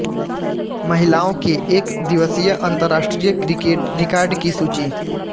महिलाओं के एक दिवसीय अंतर्राष्ट्रीय क्रिकेट रिकॉर्ड की सूची